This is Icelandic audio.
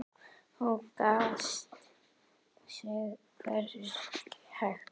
Hún gat sig hvergi hrært.